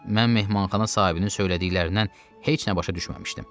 Mən mehmanxana sahibinin söylədiklərindən heç nə başa düşməmişdim.